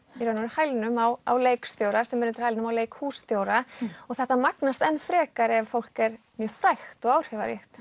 hælnum á á leikstjóra sem er undir hælnum á leikhússtjóra og þetta magnast enn frekar ef fólk er mjög frægt og áhrifaríkt